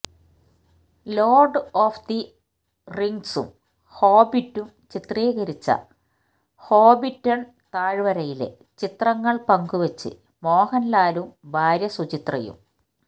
lord of the റിംഗ്സും ഹോബിറ്റും ചിത്രീകരിച്ച ഹോബിറ്റണ് താഴ്വരയിലെ ചിത്രങ്ങള് പങ്കുവെച്ച് മോഹന്ലാലും ഭാര്യ സുചിത്രയും